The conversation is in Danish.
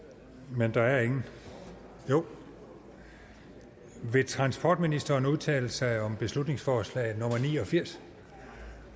men der er ingen jo vil transportministeren udtale sig om beslutningsforslag nummer 89